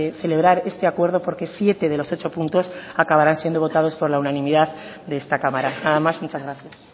celebrar este acuerdo porque siete de los ocho puntos acabarán siendo votados por la unanimidad de esta cámara nada más muchas gracias